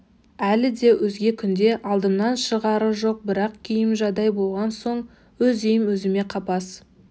әлі де өзге күнде алдымнан шығары жоқ бірақ күйім жадау болған соң өз үйім өзіме қапас